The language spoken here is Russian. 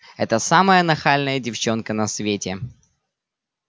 это самая нахальная девчонка на свете